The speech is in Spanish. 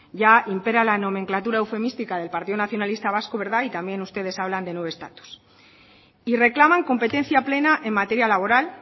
ya impera la nomenclatura eufemística del partido nacionalista vasco verdad y también ustedes hablan de nuevo estatus y reclaman competencia plena en materia laboral